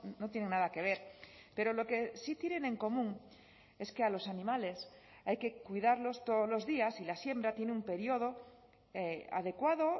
no tiene nada que ver pero lo que sí tienen en común es que a los animales hay que cuidarlos todos los días y la siembra tiene un periodo adecuado